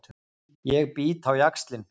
Ég bít á jaxlinn.